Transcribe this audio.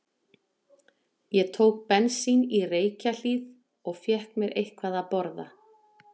Ég tók bensín í Reykjahlíð og fékk mér eitthvað að borða.